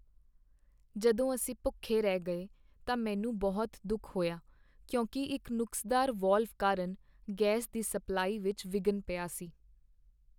ਜਦੋਂ ਅਸੀਂ ਭੁੱਖੇ ਰਹਿ ਗਏ ਤਾਂ ਮੈਨੂੰ ਬਹੁਤ ਦੁੱਖ ਹੋਇਆ ਕਿਉਂਕਿ ਇੱਕ ਨੁਕਸਦਾਰ ਵਾਲਵ ਕਾਰਨ ਗੈਸ ਦੀ ਸਪਲਾਈ ਵਿੱਚ ਵਿਘਨ ਪਿਆ ਸੀ।